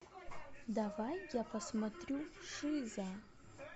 давай я посмотрю шиза